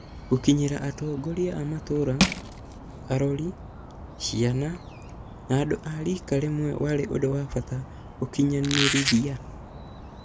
Gũkinyĩra atongoria a matũra, arori, ciana, na andũ a rika rĩmwe warĩ ũndũ wa bata gũkinyanĩrithia.